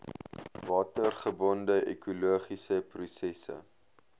watergebonde ekologiese prosesse